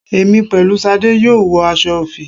Èmi pẹ̀lú Ṣadé yóò wọ aṣọ òfì